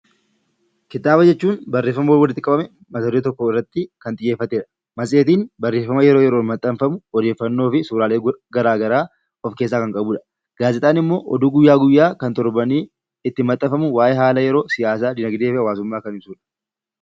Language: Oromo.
Kitaaba jechuun barreeffama walitti qabame mat-duree tokkorratti kan xiyyeeffatedha. Matseetiin barreeffama yeroo yeroon maxxanfamu odeeffannoo fi suuraalee garaagaraa of keessaa kan qabudha. Gaazexaan immoo oduu guyyaa guyyaa kan torbanii itti maxxanfamu waayee haala yeroo, siyaasa, dinagdee fi hawaasummaa kan ibsudha